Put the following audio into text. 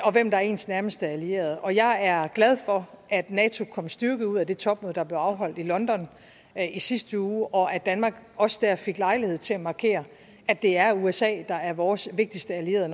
og hvem der er ens nærmeste allierede og jeg er glad for at nato kom styrket ud af det topmøde der blev afholdt i london i sidste uge og at danmark også der fik lejlighed til at markere at det er usa der er vores vigtigste allierede